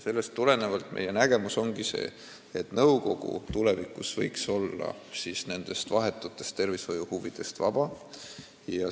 Sellest tulenevalt ongi meie nägemus see, et nõukogu võiks tulevikus olla nendest vahetutest tervishoiuhuvidest vaba.